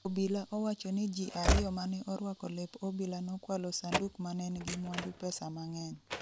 Obila owachoni ji ariyo mane orwako lep obila nokwalo sanduk manengi mwandu pesa mang'eny